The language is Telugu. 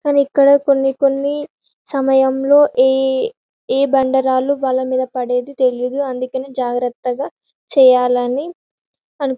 కాని ఇక్కడ కొన్నికొన్ని సమయంలో ఈ బండరాలు బల మిద పదివి తెలియదు అందుకనే జాగ్రత్తగా చేయాలనీ అను --